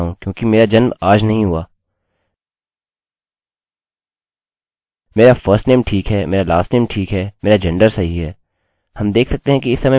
हम देख सकते हैं कि इस समय मेरी id 6 है और अगली बार हम रिकार्डअभिलेख प्रविष्ट करेंगे तो यह बढ़कर 7 हो जाएगा और फिर 8